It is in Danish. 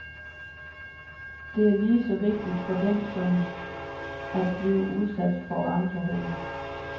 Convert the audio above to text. Det er lige så vigtigt for den som at blive udsat for andre hunde.